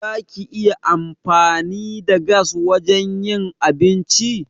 Za ki iya amfani da gas wajen yin abinci?